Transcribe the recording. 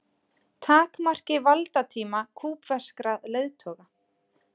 Takmarki valdatíma kúbverskra leiðtoga